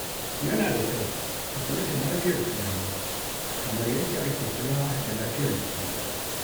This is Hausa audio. Yana da kyau a kula da lafiyar tunani kamar yadda ake kula da lafiyar jiki.